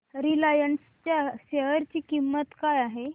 Reliance च्या share ची किंमत काय आहे